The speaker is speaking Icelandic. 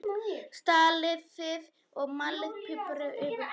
Saltið og malið pipar yfir.